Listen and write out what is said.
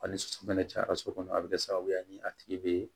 A ni so fɛnɛ cayara so kɔnɔ a bɛ kɛ sababu ye ni a tigi bɛ